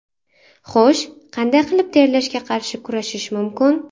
Xo‘sh, qanday qilib terlashga qarshi kurashish mumkin?